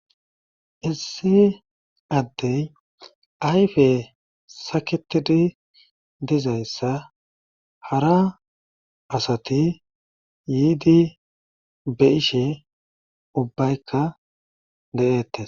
Issi adeyi ayfe saketid dizaysa hara asati yiid beyishe ubbayka de'etes.